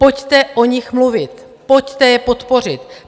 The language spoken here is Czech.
Pojďte o nich mluvit, pojďte je podpořit.